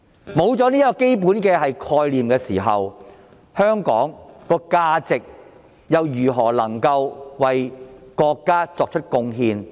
失去了這個基本概念，香港如何能夠為國家作出貢獻？